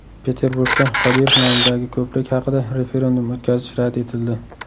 Peterburgda Qodirov nomidagi ko‘prik haqida referendum o‘tkazish rad etildi.